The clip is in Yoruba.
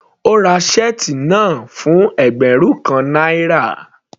Ó ra shirt náà fún ẹgbẹ́rún kan náírà.